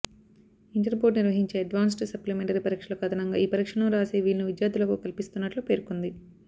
inter board నిర్వహించే advanced supplementary పరీక్షలకు అదనంగా ఈ పరీక్షలను రాసే వీలును విద్యార్థులకు కల్పిస్తున్నట్లు పేర్కొంది